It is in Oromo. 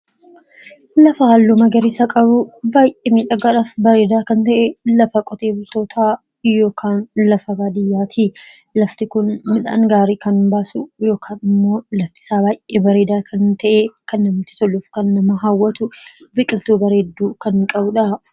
...lafa halluu magariisa qabu baay'ee miidhagaadhaaf bareedaa kan ta'e lafa qotee bultootaa yookaan lafa baadiyyaa ti. Lafti kun midhaan gaarii kan baasu yookaan immoo laftisaa baay'ee bareedaa kan ta'e, kan namatti toluu fi kan nama hawwatu biqiltuu bareedduu kan qabuu dha.